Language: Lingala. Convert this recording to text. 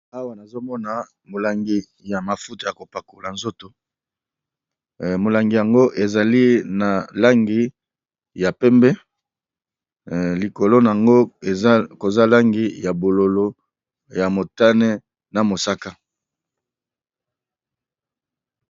awa nazomona molangi ya mafuta ya kopakola nzoto molangi yango ezali na langi ya pembe likolo nango koza langi ya bololo ya motane na mosaka